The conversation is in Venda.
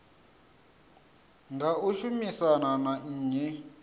nga u shumisana na nnyi